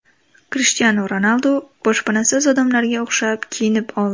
Krishtianu Ronaldu boshpanasiz odamlarga o‘xshab kiyinib oldi.